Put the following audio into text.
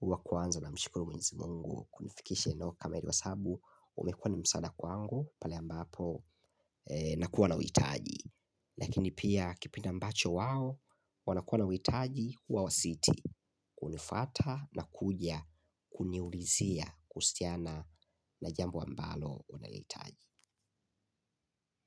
huwa kwanza na mshukuru mwenyezi mungu, kunifikisha eneo kama hili kwa sababu umekuwa ni msaada kwangu, pale ambapo na kuwa na witaji. Lakini pia kipindi ambacho wao, wanakuwa na witaji, huwa wasiti kunifata na kuja kuniulizia kuhusiana na jambo ambalo unaliitaji.